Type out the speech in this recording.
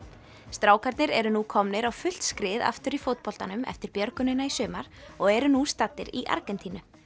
strákarnir eru nú komnir á fullt skrið aftur í fótboltanum eftir björgunina í sumar og eru nú staddir í Argentínu